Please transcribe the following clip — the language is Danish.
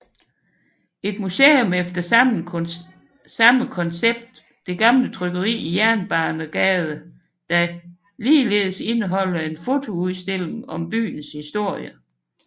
Et museum efter samme koncept er Det Gamle Trykkeri i Jernbanegade der ligeledes indeholder en fotoudstilling om byens historie